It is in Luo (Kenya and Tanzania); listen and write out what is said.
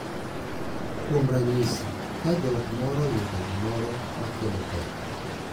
Kuom ranyisi, ka joot moro oyudo gimoro ma kelo pek,